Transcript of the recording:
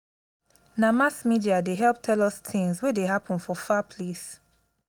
na mass media dey help tell us tins wey dey happen for far place.